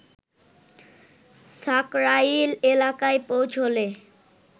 সাকরাইল এলাকায় পৌছলে